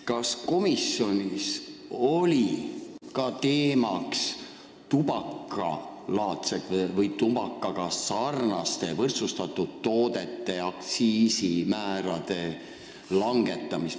Kas komisjonis arutati tubakalaadsete ehk tubakaga sarnaste, võrdsustatud toodete aktsiisimäärade langetamist?